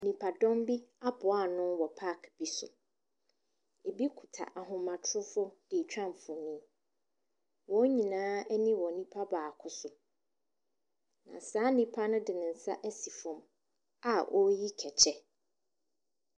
Nnipadɔm bi aboa ano wɔ park bi so. Ebi kuta ahomatrofoɔ deretwa mfonin. Wɔn nyinaa ani wɔ nipa baako so. Na saa nipa no de ne nsa asi fam a ɔreyi kɛkyɛ.